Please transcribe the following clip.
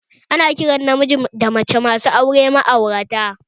Ana kiran namiji da mace masu auren juna da ma'aurata